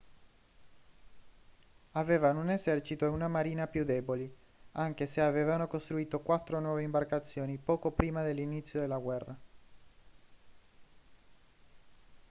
avevano un esercito e una marina più deboli anche se avevano costruito quattro nuove imbarcazioni poco prima dell'inizio della guerra